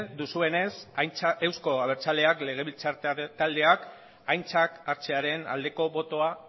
duzuenez euzko abertzaleak legebiltzar taldeak aintzat hartzearen aldeko botoa